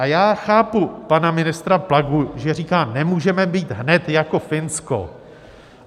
A já chápu pana ministra Plagu, že říká, nemůžeme být hned jako Finsko.